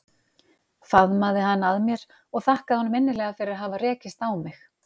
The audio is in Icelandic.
Faðmaði hann að mér og þakkaði honum innilega fyrir að hafa rekist á mig.